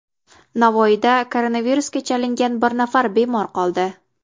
Navoiyda koronavirusga chalingan bir nafar bemor qoldi.